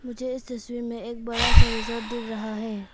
मुझे इस तस्वीर में एक बड़ा सा रिजॉर्ट दिख रहा है।